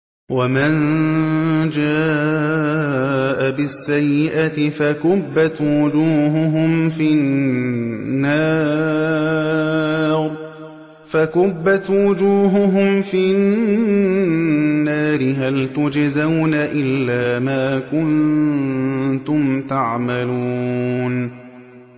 وَمَن جَاءَ بِالسَّيِّئَةِ فَكُبَّتْ وُجُوهُهُمْ فِي النَّارِ هَلْ تُجْزَوْنَ إِلَّا مَا كُنتُمْ تَعْمَلُونَ